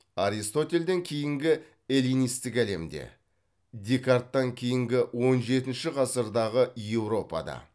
аристотельден кейінгі эллинистік әлемде декарттан кейінгі он жетінші ғасырдағы еуропада